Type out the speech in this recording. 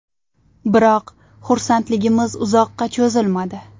Biroq, xursandligimiz uzoqqa cho‘zilmadi.